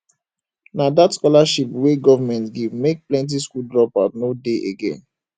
na dat scholarship wey government give make plenty skool dropout no dey again